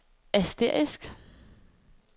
asterisk